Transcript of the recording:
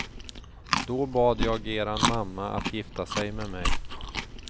Då bad jag eran mamma att gifta sig med mig.